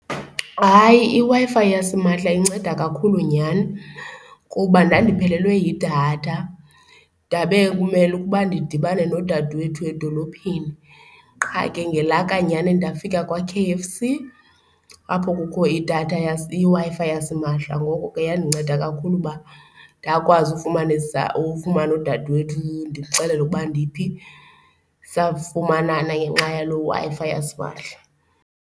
Hayi, iWi-Fi yasimahla inceda kakhulu nyhani kuba ndandiphelelwe yidatha ndabe kumele uba ndidibane nodadewethu edolophini. Qha ke ngelaka nyhani ndafika kwa-K_F_C apho kukho idatha iWi-Fi yasimahla, ngoko ke yandinceda kakhulu uba ndakwazi ufumanisa, ufumana udadewethu ndimxelele ukuba ndiphi. Safumanana ngenxa yaloo Wi-Fi yasimahla.